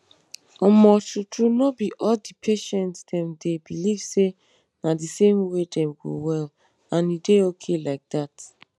omo true true no be all di patient dem dey believe say na di same way dem go well and e dey okay like dat.